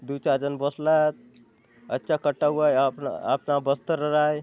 दुई चार झन बसलात अच्चा कटा हुआ है आपला -- अपना बस्तर राय --